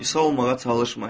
İsa olmağa çalışma.